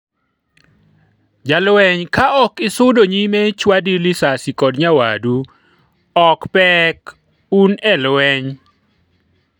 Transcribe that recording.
jalweny ka ok isudo nyime chwadi lisasi kod nyawadu ok pek, un e lweny